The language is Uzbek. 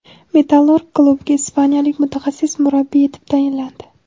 "Metallurg" klubiga ispaniyalik mutaxassis murabbiy etib tayinlandi.